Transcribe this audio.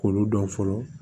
K'olu dɔn fɔlɔ